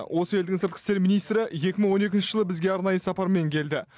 осы елдің сыртқы істер министрі екі мың он екінші жылы бізге арнайы сапармен келді